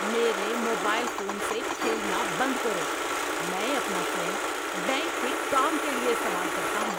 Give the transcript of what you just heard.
میرے mobile phone سے کھیلنا بند کرو۔ میں اپنا فون بینک کے کام کے لیے استعمال کرتا ہوں۔